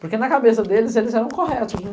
Porque na cabeça deles, eles eram corretos, né?